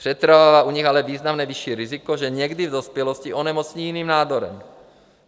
Přetrvává u nich ale významně vyšší riziko, že někdy v dospělosti onemocní jiným nádorem.